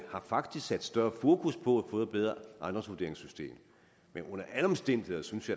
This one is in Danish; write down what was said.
faktisk sat større fokus på at få et bedre ejendomsvurderingssystem men under alle omstændigheder synes